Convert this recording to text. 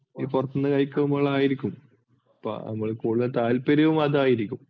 ഈ പുറത്തുന്നു കഴിക്കുമ്പോഴായിരിക്കും. ഇപ്പോൾ നമുക്ക് കൂടുതൽ താല്പര്യവും അതായിരിക്കും.